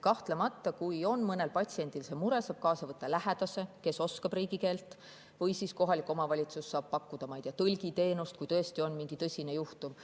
Kahtlemata, kui mõnel patsiendil on see mure, siis saab kaasa võtta lähedase, kes oskab riigikeelt, või siis saab kohalik omavalitsus pakkuda tõlgiteenust, kui tõesti on mingi tõsine juhtum.